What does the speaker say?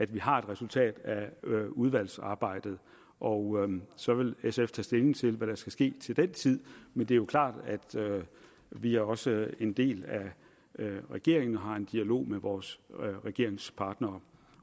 vi har et resultat af udvalgsarbejdet og så vil sf tage stilling til hvad der skal ske til den tid men det er jo klart at vi også er en del af regeringen og har en dialog med vores regeringspartnere